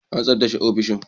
An tsaftace ofishin